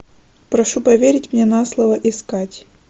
прошу поверить мне на слово искать